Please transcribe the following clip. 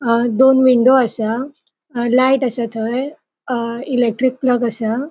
अ दोन विंडो असा अ लाइट असा थय अ इलेक्ट्रिक प्लग असा.